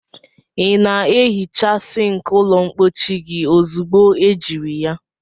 Ị na-ehicha sink ụlọ mpochi gị ozugbo ejiri ya?